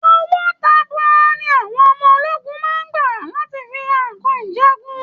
Owo tabua ni àwọn ọmọ ológun máa ń gbà láti fi ra nǹkan ìjagun